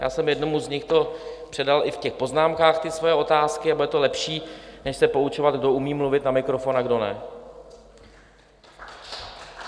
Já jsem jednomu z nich to předal i v těch poznámkách, ty své otázky, a bude to lepší než se poučovat, kdo umí mluvit na mikrofon a kdo ne.